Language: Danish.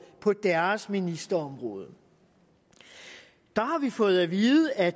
på deres ministerområde der har vi fået vide at